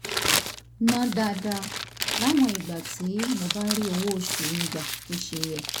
ná dáadáa láwọn ìgbà tí mi ò bá rí owó oṣù mi gbà bó ṣe yẹ